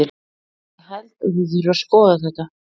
Ég held að það þurfi að skoða þetta.